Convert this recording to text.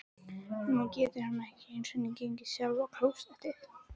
Nú getur hún ekki einu sinni gengið sjálf á klósettið.